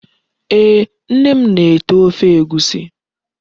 Ee, Nne m na-ete Ofe Egwusi